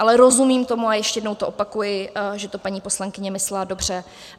Ale rozumím tomu a ještě jednou to opakuji, že to paní poslankyně myslela dobře.